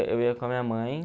eu ia com a minha mãe.